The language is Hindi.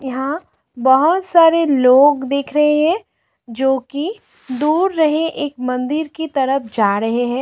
यहां बहोत सारे लोग दिख रहे हैं जो कि दूर रहे एक मंदिर की तरफ जा रहे हैं।